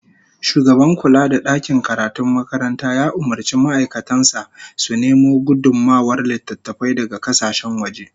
Shugaban kula da dakin karatun makaranta ya umurci ma'aikatan sa su nemo gudummawar littattafai daga kasashen waje